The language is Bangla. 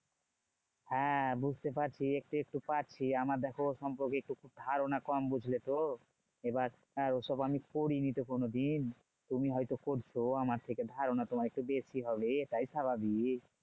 হ্যাঁ বুঝতে পারছি একটু একটু পারছি। আমার দেখো ও সম্পর্কে একটু ধারণা কম বুঝলে তো? এবার ওসব আমি করিনি তো কোনোদিন। তুমি হয়তো করছো আমার থেকে ধারণা একটু বেশি হবে, এটাই স্বাভাবিক।